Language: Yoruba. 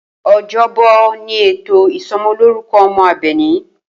O̩jó̩bò̩ ni ètò ìso̩mo̩lórúko̩ o̩mo̩ Àbè̩ní